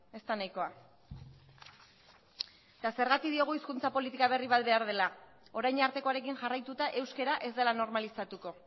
ez da nahikoa eta zergatik diogu hizkuntza politika berri bat behar dela orain artekoarekin jarraituta euskara ez dela normalizatuko